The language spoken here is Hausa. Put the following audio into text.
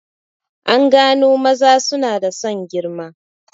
An gano maza suna da son girma